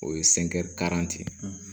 O ye